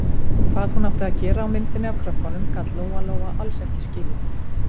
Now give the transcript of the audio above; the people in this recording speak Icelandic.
Hvað hún átti að gera á myndinni af krökkunum gat Lóa-Lóa alls ekki skilið.